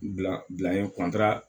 Bila bila yen